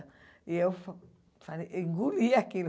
E eu fa falei eu engoli aquilo.